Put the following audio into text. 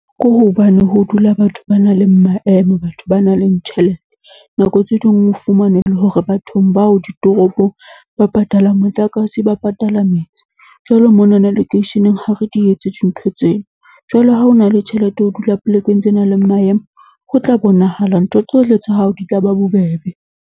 Ke hobane ho dula batho ba nang le maemo, batho ba nang le tjhelete. Nako tse ding o fumane e le hore bathong bao ditoropong ba patala motlakase, ba patala metsi. Jwalo monana lekeisheneng ha re di etse dintho tseo. Jwale ha o na le tjhelete, ho dula polekeng tse nang le maemo, ho tla bonahala ntho tsohle tsa hao di tla ba bobebe.